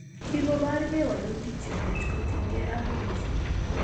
Kigobor gee walutik chemnyach kotien gee ak kenyisiek